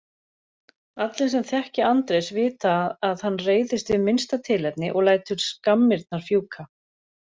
Allir sem þekkja Andrés vita að hann reiðist við minnsta tilefni og lætur skammirnar fjúka.